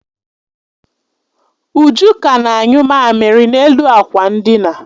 Uju ka na-anyụ mamiri n'elu akwa ndina